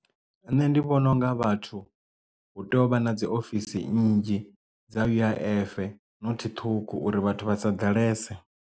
Nṋe ndi vhona unga vhathu hu tea u vha na dzi ofisi nnzhi dza U_I_F nothi ṱhukhu uri vhathu vha sa ḓalese.